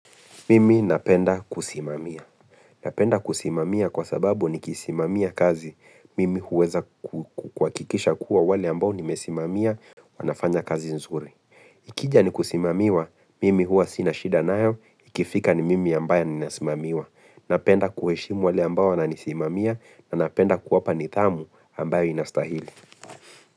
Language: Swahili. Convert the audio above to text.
Mimi napenda kusimamia. Napenda kusimamia kwa sababu nikisimamia kazi. Mimi huweza kuhakikisha kuwa wale ambao nimesimamia wanafanya kazi nzuri. Ikija ni kusimamiwa, mimi huwa sina shida nayo, ikifika ni mimi ambayo ni nasimamiwa. Napenda kuheshimu wale ambayo wana nisimamia na napenda kuwapa nidhamu ambayo inastahili.